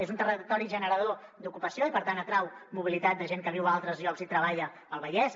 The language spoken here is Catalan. és un territori generador d’ocupació i per tant atrau mobilitat de gent que viu a altres llocs i treballa al vallès